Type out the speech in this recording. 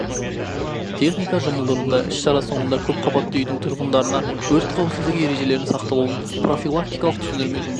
техника жұмылдырылды іс-шара соңында көп қабатты үйдің тұрғындарына өрт қауіпсіздігі ережелерінің сақталуын профилактикалық түсіндірме жұмысын